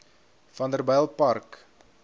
vanderbijilpark